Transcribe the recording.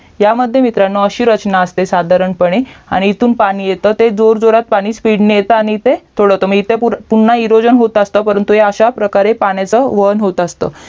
ह्यामध्ये मित्रांनो अशी रचना असते साधारणपणे आणि इथून पाणी येतं ते जोर जोरात पाणी SPEED ने येतं आणि इथं तुळवत आणि इथे पुन्हा विरोजन होत असतं परंतु अश्या प्रकारे पाण्याचा वळण होत असतं